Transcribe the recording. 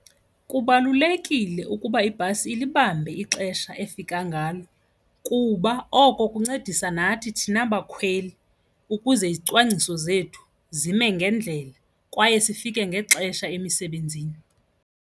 Kubalulekile ukuba ibhasi ilibambe ixesha efika ngalo kuba oko kuncedisa nathi thina bakhweli ukuze izicwangciso zethu zime ngendlela kwaye sifike ngexesha emisebenzini.